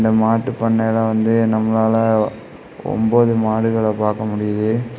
இந்த மாட்டு பண்ணையில வந்து நம்மளால ஒம்போது மாடுகள பார்க்க முடியுது.